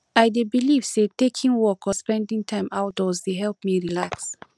i dey believe say taking walk or spending time outdoors dey help me relax